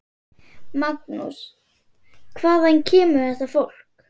Magnús: Hvaðan kemur þetta fólk?